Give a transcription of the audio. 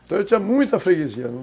Então eu tinha muita freguesia.